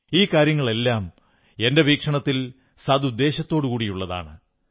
ഈ കാര്യങ്ങളെല്ലാം എന്റെ വീക്ഷണത്തിൽ സദുദ്ദേശ്യത്തോടെയുള്ളതാണ്